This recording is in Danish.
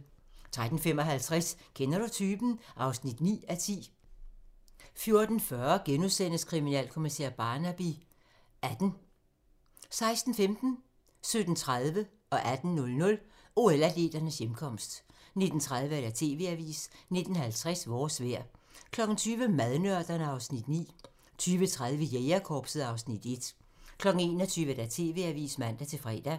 13:55: Kender du typen? (9:10) 14:40: Kriminalkommissær Barnaby XVIII * 16:15: OL-atleternes hjemkomst 17:30: OL-atleternes hjemkomst 18:00: OL-atleternes hjemkomst 19:30: TV-avisen 19:50: Vores vejr 20:00: Madnørderne (Afs. 9) 20:30: Jægerkorpset (Afs. 1) 21:00: TV-avisen (man-fre)